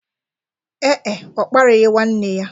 Ee e, ọ kparịghị nwanne ya.